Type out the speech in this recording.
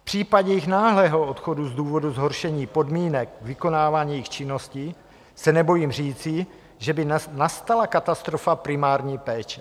V případě jejich náhlého odchodu z důvodu zhoršení podmínek vykonávání jejich činnosti se nebojím říci, že by nastala katastrofa primární péče.